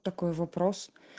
такой вопрос